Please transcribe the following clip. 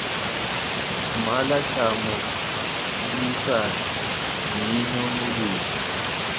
mmala tlhamo puisano mmino modumo